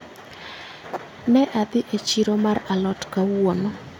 Ne adhi e chiro mar alot kawuono